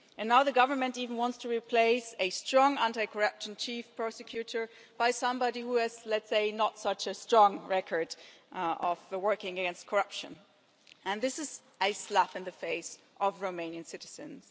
And now the Government even wants to replace a strong anti corruption chief prosecutor with somebody who has, let us say, not such a strong record of working against corruption. This is a slap in the face for Romanian citizens.